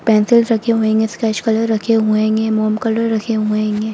Pencils रखे हुए हैंगे स्केच कलर रखे हुए हैंगे मोम कलर रखे हुए हैंगे।